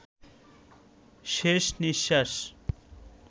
শেষ নিঃশ্বাস